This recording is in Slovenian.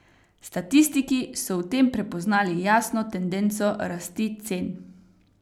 Statistiki so v tem prepoznali jasno tendenco rasti cen.